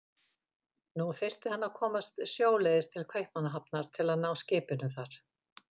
Nú þyrfti hann að komast sjóleiðis til Kaupmannahafnar til að ná skipinu þar.